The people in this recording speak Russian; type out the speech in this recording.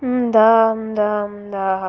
да да да